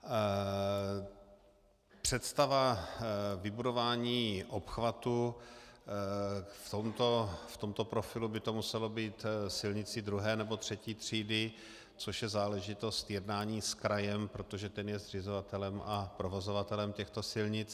Představa vybudování obchvatu, v tomto profilu by to muselo být silnicí II. nebo III. třídy, což je záležitost jednání s krajem, protože ten je zřizovatelem a provozovatelem těchto silnic.